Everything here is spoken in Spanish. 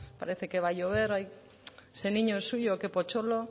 parece que va a llover ese niño es suyo qué potxolo